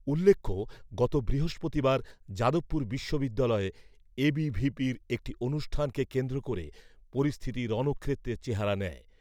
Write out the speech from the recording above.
উল্লেখ্য, গত বৃহস্পতিবার যাদবপুর বিশ্ববিদ্যালয়ে এবিভিপি'র একটি অনুষ্ঠানকে কেন্দ্র করে পরিস্থিতি রণক্ষেত্রের চেহারা নেয়।